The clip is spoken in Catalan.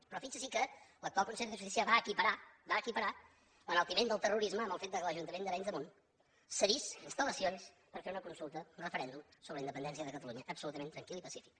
però fixi’s que l’actual consellera de justícia va equiparar l’enaltiment del terrorisme amb el fet que l’ajuntament d’arenys de munt cedís instal·lacions per fer una consulta un referèndum sobre la independència de catalunya absolutament tranquil i pacífic